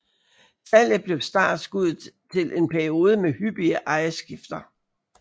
Salget blev startskuddet til en periode med hyppige ejerskifter